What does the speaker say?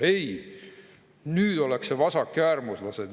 Ei, nüüd ollakse vasakäärmuslased.